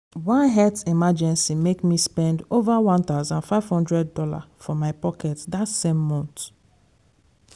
one health emergency make me spend over one thousand five hundred dollars from my own pocket that same month.